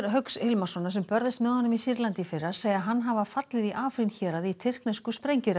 Hauks Hilmarssonar sem börðust með honum í Sýrlandi í fyrra segja hann hafa fallið í héraði í tyrknesku